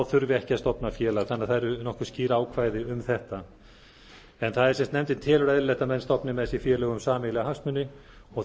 þurfi ekki að stofna félag þannig að það eru nokkuð skýr ákvæði um þetta en nefndin telur eðlilegt að menn stofni með sér félög um sameiginlega hagsmuni og